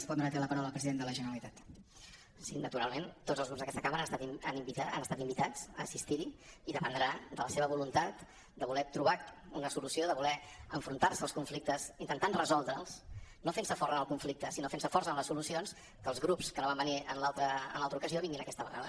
sí naturalment tots els grups d’aquesta cambra han estat invitats a assistir hi i dependrà de la seva voluntat de voler trobar una solució de voler enfrontar se als conflictes intentant resoldre’ls no fent se forts en el conflicte sinó fent se forts en les solucions que els grups que no van venir en l’altre ocasió vinguin aquesta vegada